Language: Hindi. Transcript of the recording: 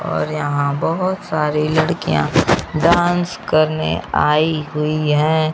और यहां बहोत सारी लड़कियां डांस करने आई हुई हैं।